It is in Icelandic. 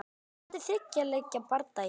Spennandi þriggja leikja bardagi.